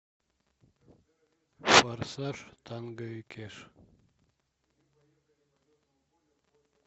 форсаж танго и кэш